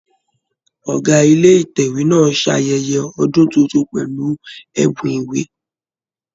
Ọgá ilé Ìtẹ̀wé náà ń ṣe ayẹyẹ ọdún tuntun pẹ̀lú ẹ̀bùn ìwé.